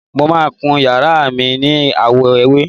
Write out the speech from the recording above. Mo máà ń kun yàrá náà ni àwọ̀ ewé.